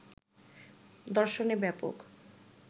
দর্শনে ব্যাপক